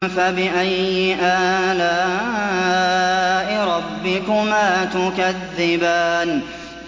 فَبِأَيِّ آلَاءِ رَبِّكُمَا تُكَذِّبَانِ